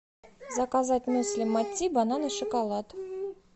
заказать мюсли мати банан и шоколад